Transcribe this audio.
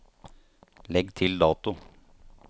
Legg til dato